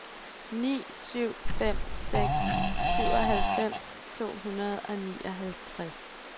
ni syv fem seks syvoghalvfems to hundrede og nioghalvtreds